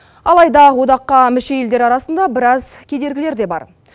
алайда одаққа мүше елдер арасында біраз кедергілер де бар